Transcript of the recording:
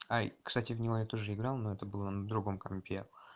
ай кстати в него я тоже играл но это было на другом компе